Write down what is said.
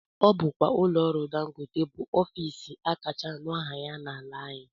Ọ bụkwa ụlọọrụ dangote bụ ofiisi akacha anụ aha ya n'ala anyị